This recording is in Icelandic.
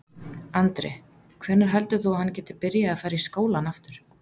Andri: Hvenær heldur þú að hann geti byrjað að fara í skólann aftur?